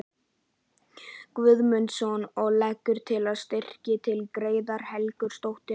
Guðmundsson og leggur til að styrkir til Gerðar Helgadóttur og